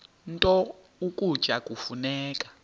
nto ukutya kufuneka